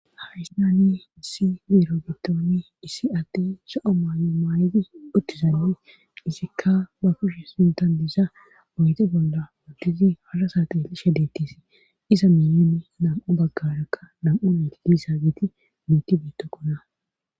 Haysani issi beero giddooni issi adey lo'o maayo maayedi uttiad izikka ba kushe sintan dizaa oyidde bolla woddizi halasateishadettis iza miyeni nam'a baggarakka nam'u na kigissaagiiti muuti bettokkona